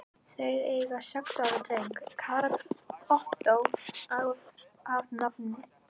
Þau eiga sex ára dreng, Karl Ottó að nafni.